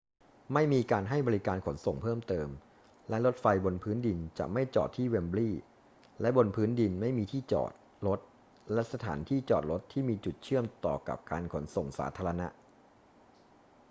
ไม่มีการให้บริการขนส่งเพิ่มเติมและรถไฟบนพื้นดินจะไม่จอดที่เวมบลีย์ และบนพื้นดินไม่มีที่จอดรถและสถานที่จอดรถที่มีจุดเชื่อมต่อกับการขนส่งสาธารณะ